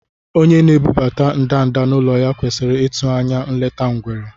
Onye na-ebubata ndanda n’ụlọ ya kwesịrị ịtụ anya nleta ngwere.